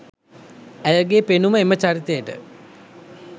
ඇයගේ පෙනුම එම චරිතයට